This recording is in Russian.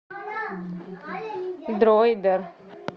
дроидер